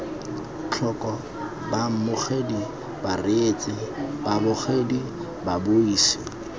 tlhoko baamogedi bareetsi babogedi babuisi